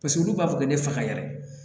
Paseke olu b'a fɔ ko ne faga yɛrɛ